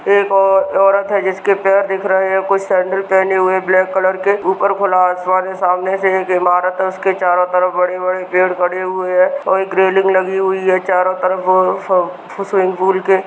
एक औरत है जिसके पैर दिख रहे हैं कुछ सैंडल पहने हुए ब्लैक कलर के ऊपर खुला असमान है सामने से एक इमारत है उसके चारों तरफ बड़े-बड़े पेड़ खड़े हुए हैं और एक रेलिंग लगी हुई है चारों तरफ वो स्वीमिंग पूल के--